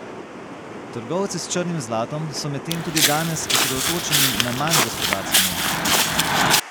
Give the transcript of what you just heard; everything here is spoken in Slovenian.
Trgovci s črnim zlatom so medtem tudi danes osredotočeni na manj gospodarske novice.